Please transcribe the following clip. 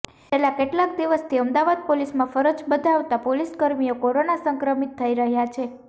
છેલ્લા કેટલેકા દિવસથી અમદાવાદ પોલીસમાં ફરજ બજાવતા પોલીસકર્મીઓ કોરોના સંક્રમિત થઇ રહ્યા છે